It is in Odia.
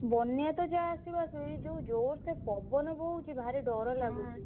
ବନ୍ୟା ତ ଯାହା ଆସିବ ଆସିବ ଏଇ ଜୋରସେ ପବନ ବହୁଛି ଭାରି ଡ଼ର ଲାଗୁଛି।